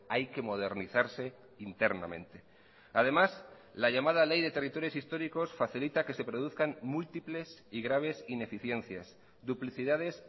hay que modernizarse internamente además la llamada ley de territorios históricos facilita que se produzcan múltiples y graves ineficiencias duplicidades